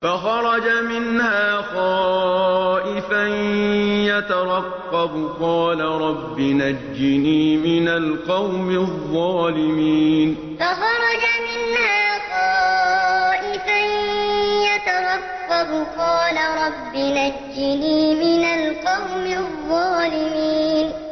فَخَرَجَ مِنْهَا خَائِفًا يَتَرَقَّبُ ۖ قَالَ رَبِّ نَجِّنِي مِنَ الْقَوْمِ الظَّالِمِينَ فَخَرَجَ مِنْهَا خَائِفًا يَتَرَقَّبُ ۖ قَالَ رَبِّ نَجِّنِي مِنَ الْقَوْمِ الظَّالِمِينَ